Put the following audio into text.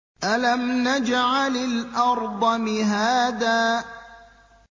أَلَمْ نَجْعَلِ الْأَرْضَ مِهَادًا